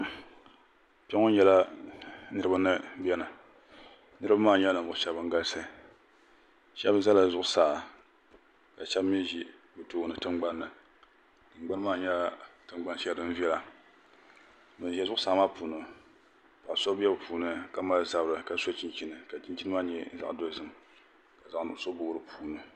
kpɛŋɔ nyɛla niriba ni bɛni niriba maa nyɛla nivuɣi shɛbi ban galisi shɛbi zala zuɣ saa la shɛbi mi ʒɛ tiŋgbani tiŋgbani maa nyɛla tiŋgbani shɛli din viɛla ban ʒɛ zuɣ saa maa puuni paɣ so bɛni ka so chichini ka chinchini maa nyɛ zaɣ' dozim ka zaɣ' nuɣisu boi di puuni